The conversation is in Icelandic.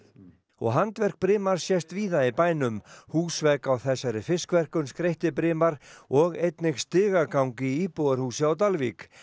og handverk sést víða í bænum húsvegg á þessari fiskverkun skreytti og einnig stigagang í íbúðarhúsi á Dalvík